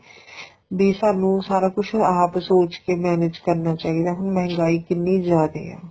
B ਸਾਨੂੰ ਸਾਰਾ ਕੁੱਝ ਆਪ ਸੋਚ ਕੇ manage ਕਰਨਾ ਚਾਹੀਦਾ ਮਹਿੰਗਾਈ ਕਿੰਨੀ ਜਿਆਦੇ ਏ